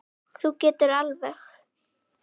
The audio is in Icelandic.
Þú getur það alveg.